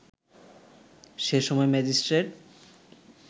সে সময় ম্যাজিস্ট্রেট